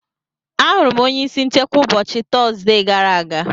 Ahụrụ m onye isi nchekwa ụbọchị Tọzdee gara aga.